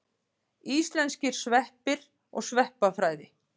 Íslenskir sveppir og sveppafræði.